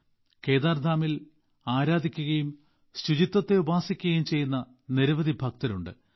ബാബകേദാർധാമിൽ ആരാധിക്കുകയും ശുചിത്വത്തെ ഉപാസിക്കുകയും ചെയ്യുന്ന നിരവധി ഭക്തരുണ്ട്